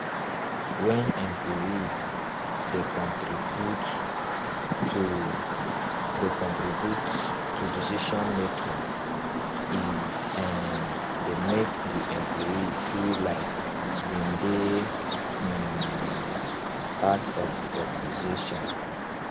when employee dey contribute to dey contribute to decision making, e um dey make di employee feel like im dey um part of di organisation